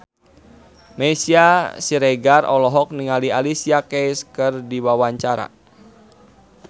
Meisya Siregar olohok ningali Alicia Keys keur diwawancara